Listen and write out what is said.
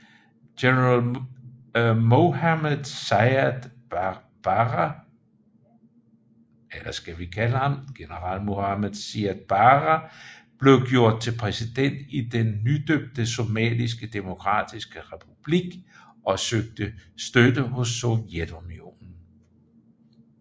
General Mohamed Siad Barre blev gjort til præsident i den nydøbte Somaliske demokratiske republik og søgte støtte hos Sovjetunionen